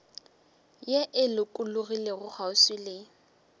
ye e lokologilego kgauswi le